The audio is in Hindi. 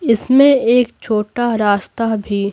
इसमें एक छोटा रास्ता भी--